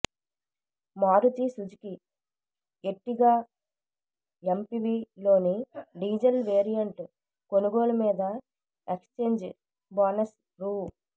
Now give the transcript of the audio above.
Maruti Suzuki Ertiga MPV లోని diesel variant కొనుగోలు మీద ఎక్స్చ్ఛేంజ్ బోనస్ రూ